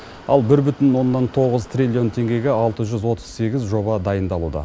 ал бір бүтін оннан тоғыз триллион теңгеге алты жүз отыз сегіз жоба дайындалуда